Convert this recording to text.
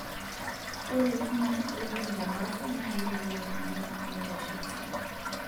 Ore ilchumai oibungi tebafu na keretoki oltungani meitasho esidai.